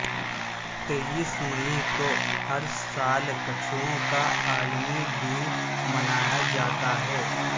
تئیس مئی کو ہر سال کچھووں کا عالمی دن منایا جاتا ہے